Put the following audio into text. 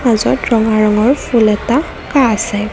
মাজত ৰঙা ৰঙৰ ফুল এটা আঁকা আছে।